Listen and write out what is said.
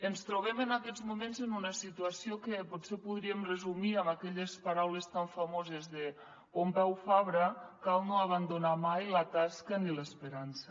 ens trobem en aquests moments en una situació que potser podríem resumir amb aquelles paraules tan famoses de pompeu fabra cal no abandonar mai la tasca ni l’esperança